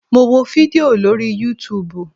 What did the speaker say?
Mo wo fídíò lórí yútuubù